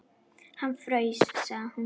Hann fraus, sagði hún.